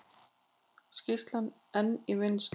Skýrslan enn í vinnslu